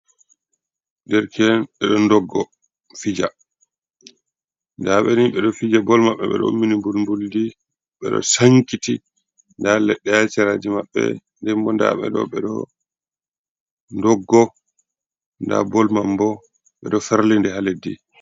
derke en bedo ndoggo. fija. nda beni be do fija bol mabbe, be do ummini nbul nbuldi, be do sankiti nda ledde ha seraji mabbe ndenbo ndaabe do bedo ndoggo nda bol man bo bedo ferlide ha leddi